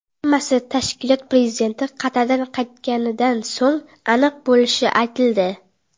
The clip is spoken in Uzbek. Hammasi tashkilot prezidenti Qatardan qaytganidan so‘ng aniq bo‘lishi aytildi .